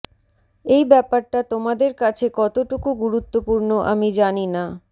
এই ব্যাপারটা তোমাদের কাছে কতোটুকু গুরুত্বপূর্ণ আমি জানি না